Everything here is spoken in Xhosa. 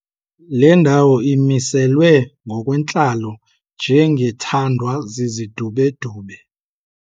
Le ndawo imiselwe ngokwentlalo njengethandwa zizidubedube.